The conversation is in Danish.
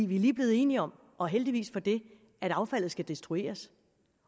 vi er lige blevet enige om og heldigvis for det at affaldet skal destrueres